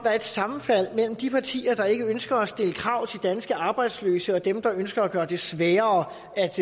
er et sammenfald mellem de partier der ikke ønsker at stille krav til danske arbejdsløse og dem der ønsker at gøre det sværere